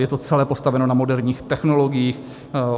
Je to celé postaveno na moderních technologiích.